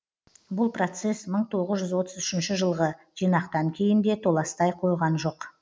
бұл процесс мың тоғыз жүз отыз үшінші жылғы жинақтан кейін де толастай қойған жоқ